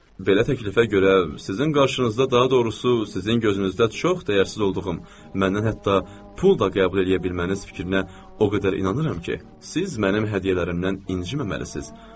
Belə təklifə görə sizin qarşınızda daha doğrusu, sizin gözünüzdə çox dəyərsiz olduğum, məndən hətta pul da qəbul eləyə bilməməniz fikrinə o qədər inanıram ki, siz mənim hədiyyələrimdən inciməməlisiz.